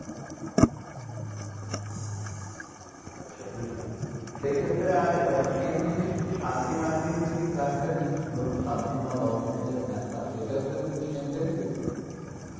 আচ্ছা বুঝলাম সেইক্ষেত্রে আর আহ same জিনিস কী সাতদিন আটদিন যদি plan টা নিই ধরুন সাতদিন বা দশদিনের যে plan টা সেটাতেও কী same benefit?